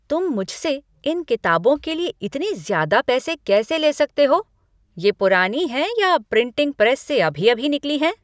तुम मुझसे इन किताबों के लिए इतने ज़्यादा पैसे कैसे ले सकते हो? ये पुरानी हैं या प्रिटिंग प्रेस से अभी अभी निकली हैं?